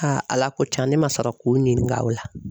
ala ko tiɲan ne ma sɔrɔ k'u ɲininka o la.